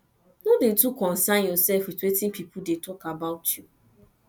no dey too consyn yourself with wetin people dey talk about you